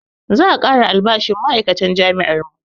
Za a ƙara albashin ma'aikatan jami'ar mu